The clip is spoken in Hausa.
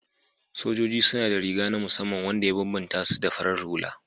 Sojoji suna da riga na musamman wanda ya bambanta su da farar hula